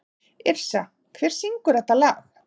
Yrsa, hver syngur þetta lag?